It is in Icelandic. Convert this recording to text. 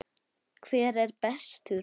Hver er bestur?